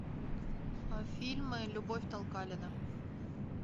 фильмы любовь толкалина